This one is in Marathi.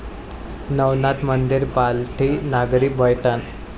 नवनाथ मंदिर, पालथी नागरी पैठण